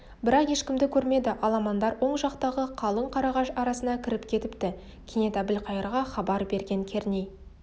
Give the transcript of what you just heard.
бірақ ешкімді көрмеді аламандар оң жақтағы қалың қарағаш арасына кіріп кетіпті кенет әбілқайырға хабар берген керней